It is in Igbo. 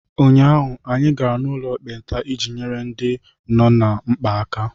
Ụnyaahụ, anyị gara n'ụlọ ekpenta iji nyere ndị nọ ná mkpa aka.